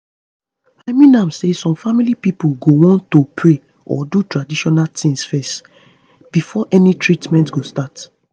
i mean am say some family pipo go wan to pray or do tradition tings fezz before any treatment go start